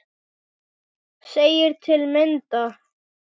segir til að mynda